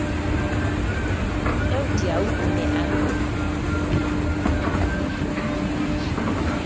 eo diau o ne a